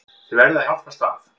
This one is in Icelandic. Þið verðið að hjálpast að.